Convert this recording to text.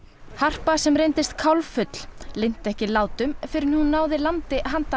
harpa sem reyndist linnti ekki látum fyrr en hún náði landi handan